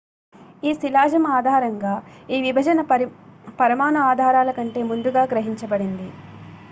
"""ఈ శిలాజం ఆధారంగా ఈ విభజన పరమాణు ఆధారాల కంటే ముందుగా గ్రహించబడింది.